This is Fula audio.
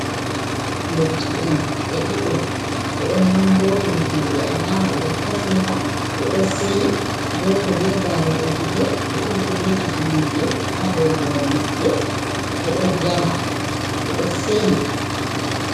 Ndotti'en ɓe ɗiɗo, ɓe ɗo nanngootiri juuɗe, alaama ɓe ɗo hofnira, ɓe ɗo seyi, gooto be daaruɗe gite. Ɓe ɗiɗi fu be kifineeje haa dow hoore maɓɓe, ɓe ɗo jala, ɓe ɗo seyi.